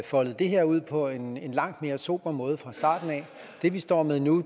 foldet det her ud på en langt mere sober måde fra starten af det vi står med nu